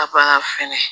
Ka ban fɛnɛ